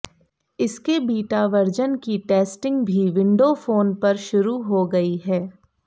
इसके beta version की testing भी विंडो फोन पर शुरू हो गई है